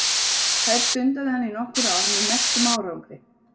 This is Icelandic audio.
Þær stundaði hann í nokkur ár með merkum árangri.